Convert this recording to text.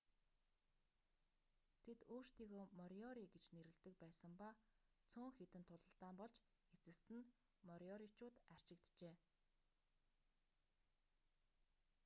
тэд өөрсдийгөө мориори гэж нэрлэдэг байсан ба цөөн хэдэн тулалдаан болж эцэст нь мориоричууд арчигджээ